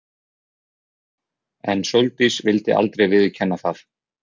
En Sóldís vildi aldrei viðurkenna það.